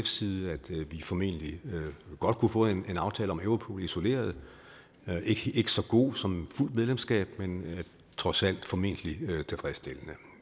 side at vi formentlig godt kunne få en aftale om europol isoleret ikke så god som et fuldt medlemskab men trods alt formentlig tilfredsstillende